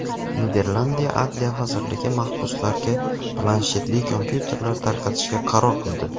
Niderlandiya adliya vazirligi mahbuslarga planshetli kompyuyterlar tarqatishga qaror qildi.